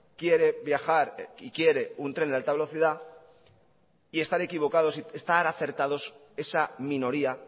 quiere viajar y quiere un tren de alta velocidad y estar equivocados y estar acertados esa minoría